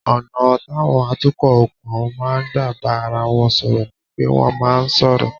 Ọ̀nà táwọn atukọ̀ òkun máa ń gbà bá ara wọn sọ̀rọ̀ ni pé wọ́n máa ń sọ̀rọ̀